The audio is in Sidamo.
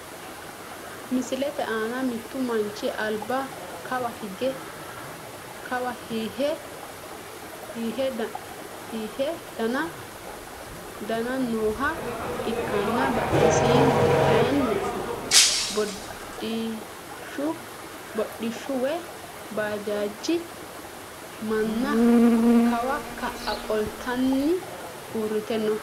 Misilete aana mittu manchi alba kawa hihe daani nooha ikanna badhesiini kayiini hodhishshu woyi baajaje mana kawa ka`a qoltanoti uurite no.